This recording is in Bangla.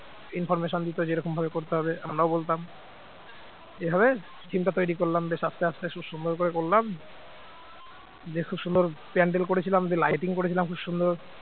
information দিত যে এরকম ভাবে করতে হবে আমরাও বলতাম এভাবে theme টা তৈরি করলাম বেশ আস্তে আস্তে খুব সুন্দর করে করলাম দিয়ে খুব সুন্দর pandal করেছিলাম দিয়ে lighting করেছিলাম খুব সুন্দর